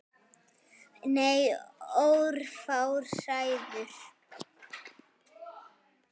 Nei, örfáar hræður.